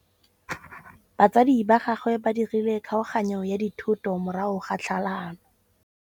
Batsadi ba gagwe ba dirile kgaoganyô ya dithoto morago ga tlhalanô.